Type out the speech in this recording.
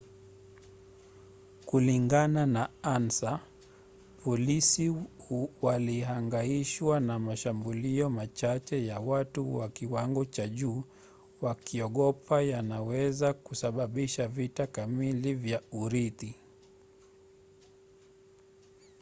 kulingana na ansa polisi walihangaishwa na mashambulio machache ya watu wa kiwango cha juu wakiogopa yanaweza kusababisha vita kamili vya urithi